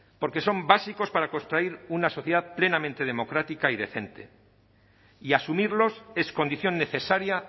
porque son básicos para construir una sociedad plenamente democrática y decente y asumirlos es condición necesaria